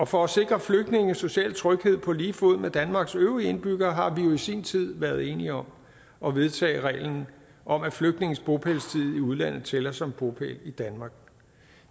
for at sikre flygtninge social tryghed på lige fod med danmarks øvrige indbyggere har vi jo i sin tid været enige om at vedtage reglen om at flygtninges bopælstid i udlandet tæller som bopæl i danmark